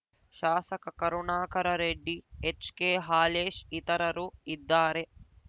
ಶಾಸಕ Karunakara Reddy H K Halesh ಇತರರು ಇದ್ದಾರೆ